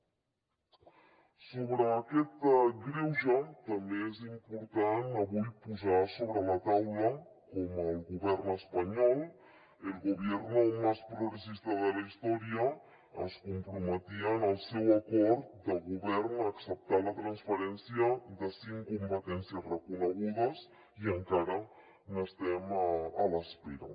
sobre aquest greuge també és important avui posar sobre la taula com el govern espanyol el gobierno más progresista de la historia es comprometia en el seu acord de govern a acceptar la transferència de cinc competències reconegudes i en·cara n’estem a l’espera